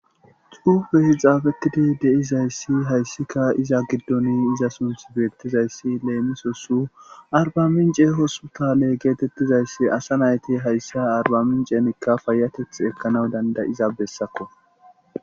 Cuufe hixaafetidi deizayssi hayssika iza giddoni iza sunth bettizayssi leemisosu arbamince hosutale geetettizayssi asa nayti hayssa arbaminceenikka fayateth ekkanaw dandayiza bessakko.